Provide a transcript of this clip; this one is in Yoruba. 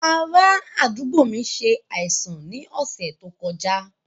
Ará àdúgbò mi ṣe àìsàn ní ọ̀sẹ̀ tó kọjá